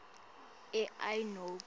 a i nobe